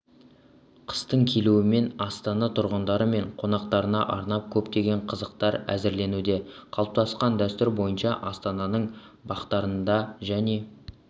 қыстың келуімен астана тұрғындары мен қонақтарына арнап көптеген қызықтар әзірленуде қалыптасқан дәстүр бойынша астананың бақтарында және